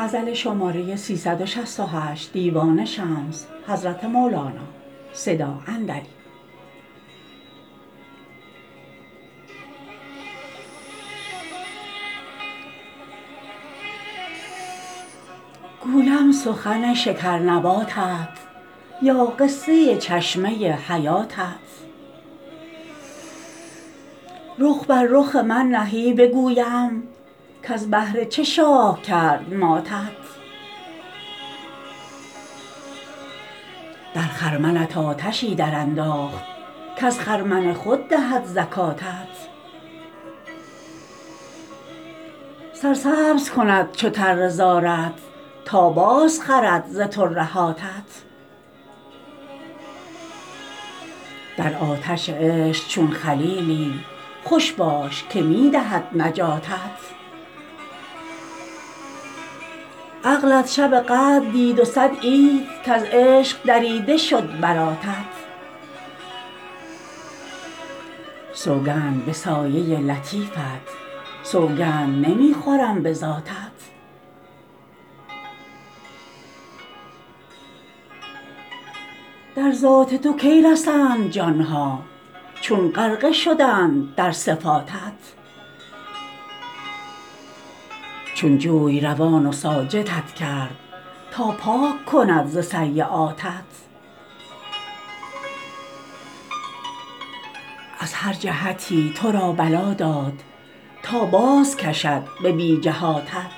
گویم سخن شکرنباتت یا قصه چشمه حیاتت رخ بر رخ من نهی بگویم کز بهر چه شاه کرد ماتت در خرمنت آتشی درانداخت کز خرمن خود دهد زکاتت سرسبز کند چو تره زارت تا بازخرد ز ترهاتت در آتش عشق چون خلیلی خوش باش که می دهد نجاتت عقلت شب قدر دید و صد عید کز عشق دریده شد براتت سوگند به سایه لطیفت سوگند نمی خورم به ذاتت در ذات تو کی رسند جان ها چون غرقه شدند در صفاتت چون جوی روان و ساجدت کرد تا پاک کند ز سییاتت از هر جهتی تو را بلا داد تا بازکشد به بی جهاتت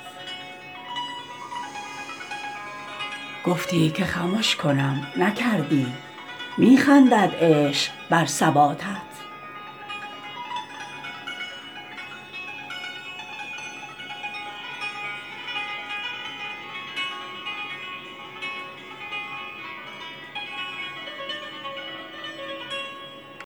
گفتی که خمش کنم نکردی می خندد عشق بر ثباتت